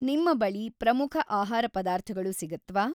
ನಿಮ್ಮ ಬಳಿ ಪ್ರಮುಖ ಆಹಾರ ಪದಾರ್ಥಗಳು ಸಿಗತ್ವಾ?